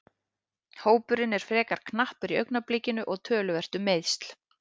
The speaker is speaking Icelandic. Hópurinn er frekar knappur í augnablikinu og töluvert um meiðsl.